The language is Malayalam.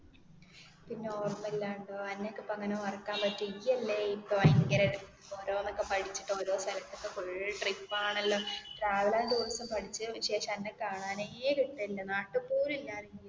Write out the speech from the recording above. പിന്നേ ഓർമ ഇല്ലാണ്ടോ അന്നേ ഒക്കേ ഇപ്പോ അങ്ങനെ മറക്കാൻ പറ്റുവോ ഈ അല്ലേ ഇപ്പോ ഭയങ്കര ഒരോന്നും ഒക്കേ പഠിച്ചിട്ട് ഒരോ സ്ഥലത്തു ഒക്കേ ഫുൾ ട്രിപ്പ് ആണല്ലോ ട്രാവൽ ആൻഡ് ടൂറിസ്റ്റ് പഠിച്ച ശേഷം അന്നേ കാണാനേ കിട്ടുന്നില്ല നാട്ടിൽ പോലും ഇല്ലാലോ